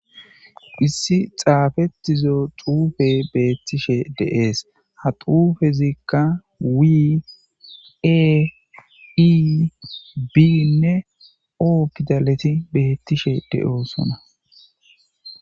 issi xaafettizo xuufe beettishe de7ees ha xuufe zikka wi ei biinne oo pidaleti beettishe de7oosona